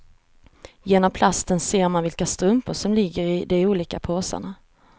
Genom plasten ser man vilka strumpor som ligger i de olika påsarna.